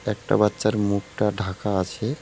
একটা বাচ্চার মুখটা ঢাকা আছে।